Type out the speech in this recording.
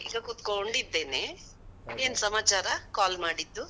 ಈಗ ಕುತ್ಕೊಂಡಿದ್ದೇನೆ, ಏನ್ ಸಮಾಚಾರ call ಮಾಡಿದ್ದು?